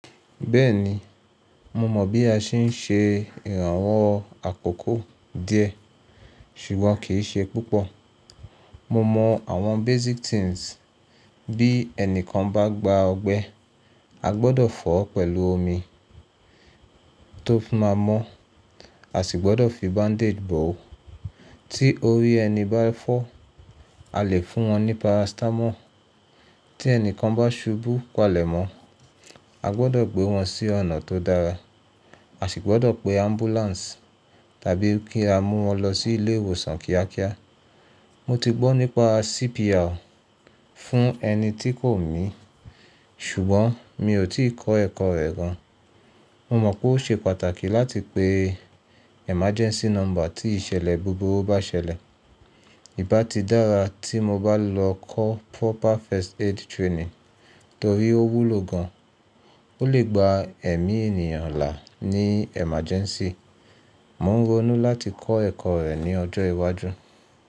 Bẹ́ẹ̀ni, mo mọ̀ bí a ṣe ń ṣe ìrànwọ́ àkókò díẹ̀, ṣùgbọ́n kì í ṣe púpọ̀. Mo mọ àwọn basic things bí ẹni kan bá gba ọgbẹ́, a gbọdọ̀ fọ̀ ọ́ pẹ̀lú omi tó fi má mọ́, a sì gbọdọ̀ fi bandage bò ó. Tí orí ẹni bá fọ́, a lè fún wọn ní paracetamol. Tí ẹni kan bá ṣubú palẹ̀mọ́, a gbọdọ̀ gbé wọn sí ọ̀nà tó dára, a sì gbọdọ̀ pe ambulance tàbí kí a mú wọn lọ sí ilé ìwòsàn kíákíá. Mo ti gbọ́ nípa CPR fún ẹni tí kò mì, ṣùgbọ́n mi ò tí ì kọ́ ẹ̀kọ́ rẹ̀ gan. Mo mọ̀ pé ó ṣe pàtàkì láti pe emergency number tí ìṣẹ̀lẹ̀ búburú bá ṣẹlẹ̀. Í bá ti dára tí mo bá lọ kọ́ proper first aid training torí ó wúlò gan, ó lè gba ẹ̀mí ènìyàn là ní emergency. Mo ń ronú láti kọ́ ẹ̀kọ́ rẹ̀ ní ọjọ́ iwájú.